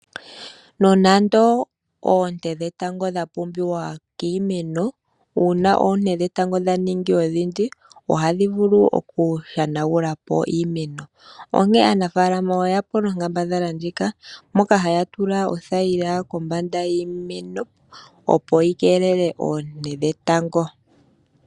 Nonando oonte dhetango dha pumbiwa kiimeno, uuna oonte dhetango dhaningi odhindji oha dhi vulu oku shangulapo iimeno. Onkee aanafaalama oya mono onkambadhala ndjika moka haya tula othayila kombanda yiimeno opo yi keelele oonte dhetango.